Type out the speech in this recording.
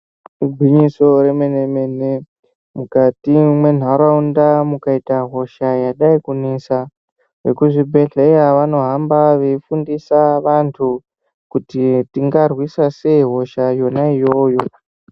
Igwinyiso remene mene mukati mwenharaunda mukaita hosha ingadai kunetsa vekuzvibhedhlera Vanoda veifundisa Vantu kuti tingarwisa sei hosha iyona iyoyo.